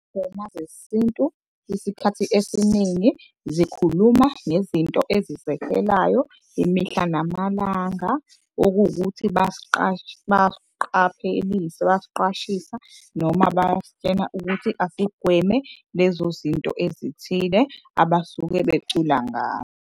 Izingoma zesintu isikhathi esiningi zikhuluma ezizekelayo imihla namalanga. Okuwukuthi bayasiqaphelisa, bayasiqwashisa noma bayasitshena ukuthi asigweme lezo zinto ezithile abasuke becula ngayo.